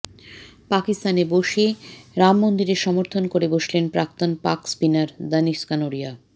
পাকিস্তানে বসে রাম মন্দিরের সমর্থন করে বসলেন প্রাক্তন পাক স্পিনার দানিশ কানেরিয়া